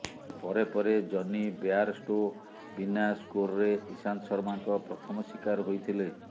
ପରେପରେ Jonny Bairstow ବିନା ସ୍କୋର୍ରେ ଈଶାନ୍ତ ଶର୍ମାଙ୍କ ପ୍ରଥମ ଶିକାର ହୋଇଥିଲେ